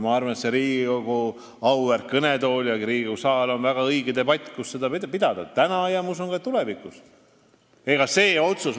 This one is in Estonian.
Riigikogu auväärt kõnetool, Riigikogu saal on väga õige koht selle debati pidamiseks täna ja ma usun, et ka tulevikus.